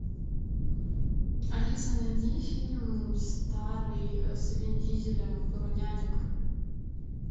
алиса найди фильм старый с вин дизелем про нянек